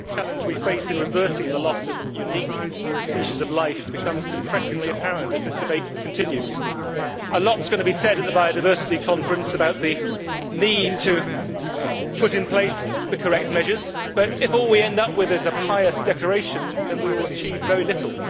Madam President, the challenge we face in reversing the loss of unique species of life becomes depressingly apparent as this debate continues. A lot is going to be said at the biodiversity conference about the need to put in place the correct measures, but if all we end up with is a pious declaration, we will achieve very little.